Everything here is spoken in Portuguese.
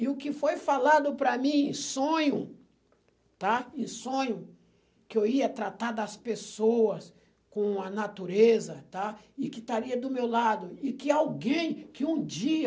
E o que foi falado para mim em sonho, tá? Em sonho, que eu ia tratar das pessoas com a natureza, tá? E que estaria do meu lado, e que alguém, que um dia...